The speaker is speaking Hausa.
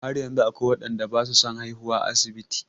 Har yanzu akwai waɗanda ba su son haihuwa a asibiti.